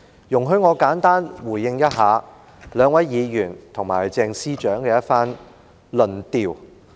容許我簡單回應兩位議員及鄭司長的一番論調。